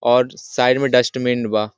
और साइड में डस्टबीन बा|